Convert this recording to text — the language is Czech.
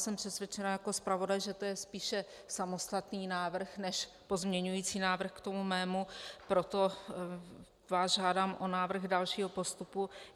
Jsem přesvědčena jako zpravodaj, že to je spíše samostatný návrh než pozměňující návrh k tomu mému, proto vás žádám o návrh dalšího postupu.